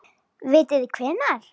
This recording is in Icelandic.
Vitið þið hvenær?